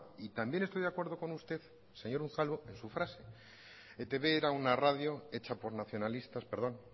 y también estoy de acuerdo con usted señor unzalu en su frase etb era una radio hecha por nacionalistas perdón